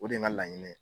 O de ye n ka laɲini ye